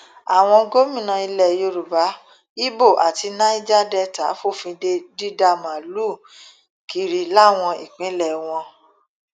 àwọn gómìnà ilẹ yorùbá ibo àti nàíjà delta fòfin de dídá màálùú kiri láwọn ìpínlẹ wọn